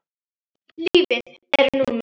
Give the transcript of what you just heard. Lífið er núna.